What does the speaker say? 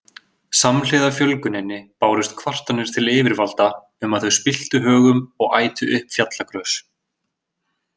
Samhliða fjölguninni bárust kvartanir til yfirvalda um að þau spilltu högum og ætu upp fjallagrös.